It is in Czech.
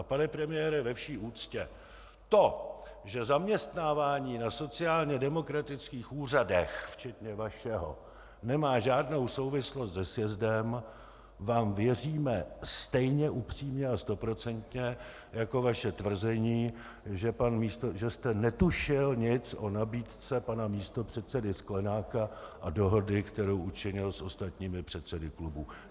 A pane premiére, ve vší úctě, to, že zaměstnávání na sociálně demokratických úřadech včetně vašeho nemá žádnou souvislost se sjezdem, vám věříme stejně upřímně a stoprocentně jako vaše tvrzení, že jste netušil nic o nabídce pana místopředsedy Sklenáka a dohodě, kterou učinil s ostatními předsedy klubů.